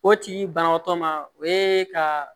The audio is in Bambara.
O tigi banabaatɔ ma o ye ka